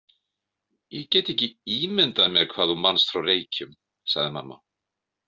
Ég get ekki ímyndað mér hvað þú manst frá Reykjum, sagði mamma.